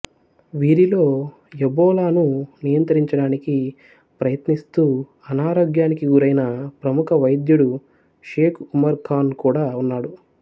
వీరిలో యబోలాను నియంత్రించడానికి ప్రయత్నిస్తూ అనారోగ్యానికి గురైన ప్రముఖ వైద్యుడు షేకు ఉమరు ఖాను కూడా ఉన్నాడు